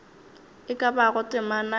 e ka bago temana ya